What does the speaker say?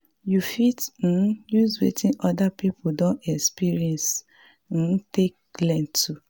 you fit um use wetin oda pipo don experience um take learn too